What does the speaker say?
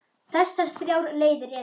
Þessar þrjár leiðir eru